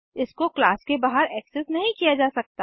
इसको क्लास के बाहर एक्सेस नहीं किया जा सकता